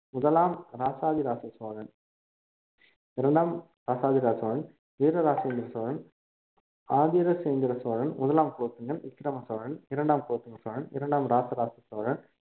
முதலாம் ராசாதிராச சோழன் இரண்டாம் ராசாதிராச சோழன் வீரராசேந்திர சோழன் ஆதிராசேந்திர சோழன் முதலாம் குலோத்துங்கன் விக்கிரம சோழன் இரண்டாம் குலோத்துங்க சோழன் இரண்டாம் ராசாராசா சோழன் மூன்றாம் குலோத்துங்க சோழன்